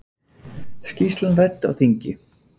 Skýrslan rædd á þingi